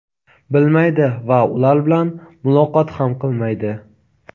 bilmaydi va ular bilan muloqot ham qilmaydi.